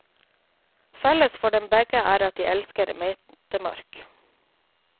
Felles for dem begge er at de elsker metemark.